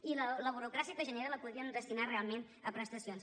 i la burocràcia que genera la podríem destinar realment a prestacions